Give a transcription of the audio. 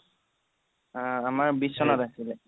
আহ আমাৰ বিশ চনত আছিলে